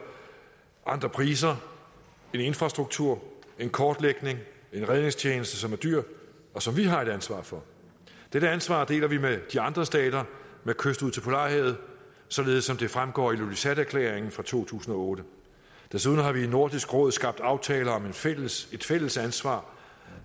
andre priser en infrastruktur en kortlægning en redningstjeneste som er dyr og som vi har et ansvar for dette ansvar deler vi med de andre stater med kyst ud til polarhavet således som det fremgår af ilulissaterklæringen fra to tusind og otte desuden har vi i nordisk råd skabt aftaler om et fælles et fælles ansvar